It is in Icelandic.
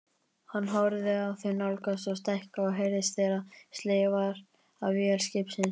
Hann horfði á þau nálgast og stækka og heyrði þegar slegið var af vél skipsins.